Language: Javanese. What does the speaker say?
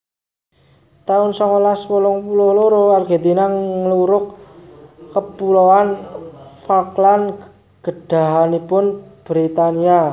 taun songolas wolung puluh loro Argentina nglurug Kepuloan Falkland gadhahanipun Britania